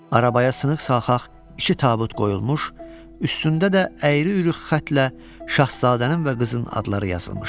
Arabaya sınıq-salxaq iki tabut qoyulmuş, üstündə də əyri-üyrü xətlə Şahzadənin və qızın adları yazılmışdı.